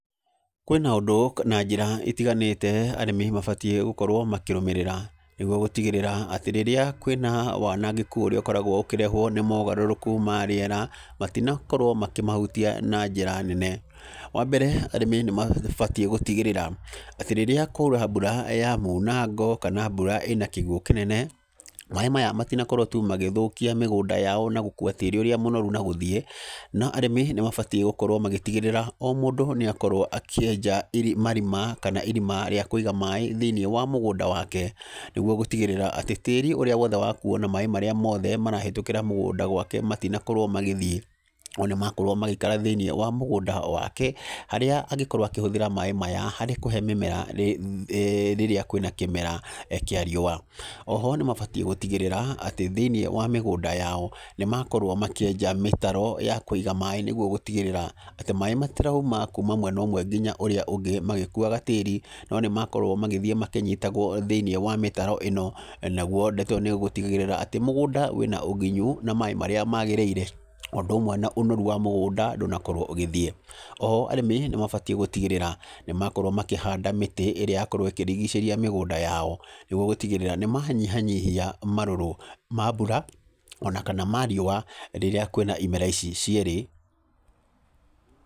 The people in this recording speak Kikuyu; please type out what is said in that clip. Kwĩna ũndũ na njĩra itiganĩte arĩmi mabatiĩ gũkorwo makĩrũmĩrĩra nĩguo gũtigĩrĩra atĩ rĩrĩa kwĩna wanangĩku ũrĩa ũkoragwo ũkĩrehwo nĩ maũgarũrũku ma rĩera, matinakorwo makĩmahutia na njĩra nene. Wambere arĩmi nĩmabatiĩ gũtigĩrĩra atĩ rĩrĩa kwaura mbura ya munango, kana mbura ĩna kĩguũ kĩnene, maaĩ maya matinakorwo tu magĩthũkia mĩgũnda yao nagũkua tĩri ũrĩa mũnoru nagũthiĩ, no arĩmi nĩmabatiĩ gũkorwo magĩtigĩrĩra, omũndũ nĩ akorwo akĩenja marima kana irima rĩakũiga maaĩ thĩinĩ wa mũgũnda wake nĩguo gũtigĩrĩra atĩ tĩri ũrĩa wothe wakuo na maaĩ marĩa mothe marahĩtũkĩra mũgũnda gwake matinakorwo magĩthiĩ wona makorwo magĩikara thĩiniĩ wa mũgũnda wake, harĩa angĩkorwo akĩhũthĩra maaĩ maya, harĩ kũhe mĩmera rĩrĩa kwĩna kĩmera kĩa riũa. Oho nĩmabatiĩ gũtigĩrĩra atĩ thĩinĩ wa mĩgũnda yao, nĩmakorwo makĩenja mĩtaro ya kũiga maaĩ nĩguo gũtigĩrĩra atĩ maaĩ matirauma kuma mwena ũmwe nginya ũrĩa ũngĩ magĩkuaga tĩri, no nĩmakorwo magĩthiĩ makĩnyitagwo thĩinĩ wa mĩtaro ĩno naguo ndeto ĩno nĩgũtigagĩrĩra atĩ mũgũnda wĩna ũgunyu na maaĩ marĩa magĩrĩire, ũndũ ũmwe na ũnoru wa mũgũnda, ndũnakorwo ũgĩthiĩ. Oho, arĩmi nĩmabatiĩ gũtigĩrĩra nĩmakorwo makĩhanda mĩtĩ ĩrĩa yakorwo ĩkĩrigicĩria mĩgũnda yao, nĩguo gũtigĩrĩra nĩmanyiha nyihia marũrũ ma mbura, ona kana ma riũa rĩrĩa kwĩna imera ici cierĩ.